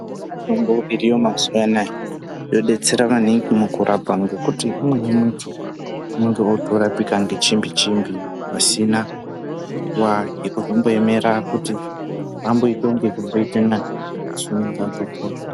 Mitombo iriyo mazuwa anaya yodetsera maningi mukurapa ngekuti umweni muntu unenge otorapika ngechimbi chimbi pasina nguwa yekuzomboemera kuti muntu amboita kunge zvimboita nani asi unenge atopora.